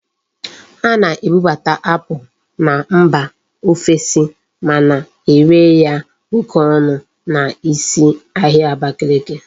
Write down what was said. A na-ebubata apple na mba ofesi ma na ere ya oke onu na isi ahia Abakiliki